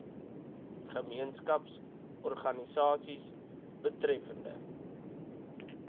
gemeenskaps organisasies betreffende